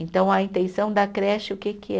Então, a intenção da creche, o que que é?